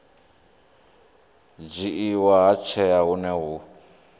dzhiiwa ha tsheo hune hu